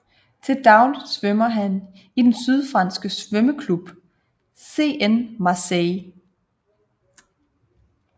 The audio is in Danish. Til dagligt svømmer han i den sydfranske svømmeklub CN Marseille